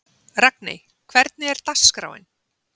Ragney, hvernig er dagskráin?